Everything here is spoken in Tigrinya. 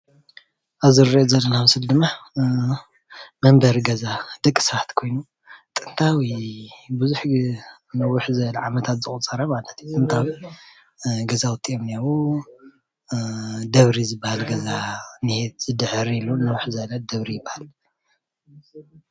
ኣብዚ እንሪኦ ዘለና ምስሊ ድማ መንበሪ ገዛ ደቅሰባት ኾይኑ ጥንታዊ ቡዙሕ ግዜ ንንውሕ ዝበለ ዓመታት ዘቁፀረ ማለት እዩ ።ጥንታዊ ገዛውቲ እዮም እንሄው። ደብሪ ዝበሃል ገዛ እዩ እኒሀ ድሕር ኢሉ።